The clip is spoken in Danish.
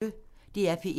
DR P1